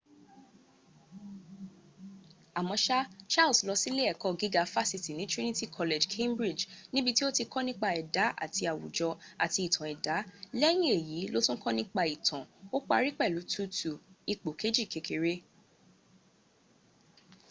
àmọ́ṣá charles lọ silé ẹ̀kọ́ gíga fásitì ní trinity college cambridge níbití ó ti kọ́ nípa ẹ̀dá àti àwùjọ àti ìtàn ẹ̀dà lẹ́yìn èyí ló tún kọ nípa ìtàn ó pari pẹ̀lu 2:2 ipò kejì kékeré